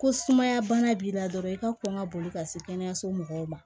Ko sumaya bana b'i la dɔrɔn i ka kɔn ka boli ka se kɛnɛyaso mɔgɔw ma